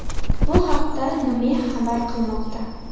Bu haqda NME xabar qilmoqda .